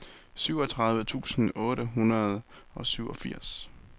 syvogtredive tusind otte hundrede og syvogfirs